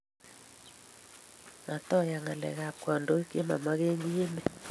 Matoiyan ngalek abkandoik che mamakenkii emet